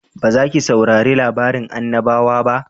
Ba za ki saurari labarin annabawa ba?